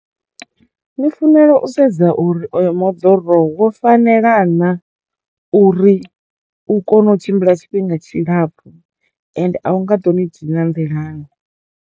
Ni funela u sedza uri oyo moḓoro wo fanela naa uri u kono u tshimbila tshifhinga tshilapfu ende a u nga ḓo ni dina nḓilani.